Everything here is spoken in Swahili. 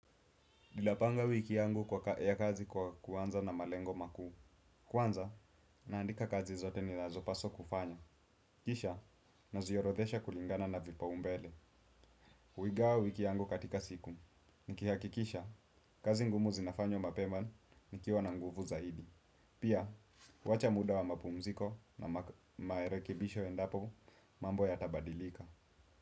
Dilapanga wiki yangu ya kazi kwa kwanza na malengo makuu. Kwanza, naandika kazi zote ni nazo paswa kufanya. Kisha, naziorothesha kulingana na vipaumbele. Uigawa wiki yangu katika siku. Nikihakikisha, kazi ngumu zinafanywa mapeman nikiwa na nguvu zaidi. Pia, wacha muda wa mapumziko na maerekebisho endapo mambo ya tabadilika.